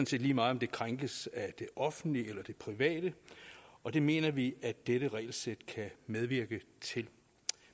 set lige meget om det krænkes af det offentlige eller det private og det mener vi at dette regelsæt kan medvirke til